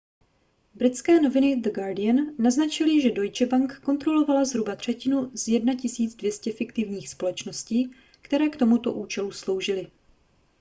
britské noviny the guardian naznačily že deutsche bank kontrolovala zhruba třetinu z 1 200 fiktivních společností které k tomuto účelu sloužily